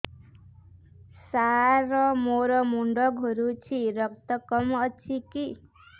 ସାର ମୋର ମୁଣ୍ଡ ଘୁରୁଛି ରକ୍ତ କମ ଅଛି କି